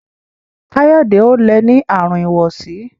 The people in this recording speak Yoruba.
Kayode o lẹ ní Àrùn ìwọsí.